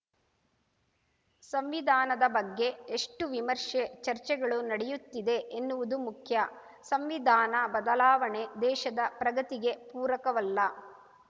ಸಂವಿಧಾನದ ಬಗ್ಗೆ ಎಷ್ಟುವಿಮರ್ಶೆ ಚರ್ಚೆಗಳು ನಡೆಯುತ್ತಿದೆ ಎನ್ನುವುದು ಮುಖ್ಯ ಸಂವಿಧಾನ ಬದಲಾವಣೆ ದೇಶದ ಪ್ರಗತಿಗೆ ಪೂರಕವಲ್ಲ